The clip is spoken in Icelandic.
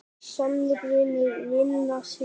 Sannur vinur vina sinna.